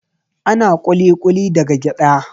Ana ƙuli-ƙuli daga gyaɗa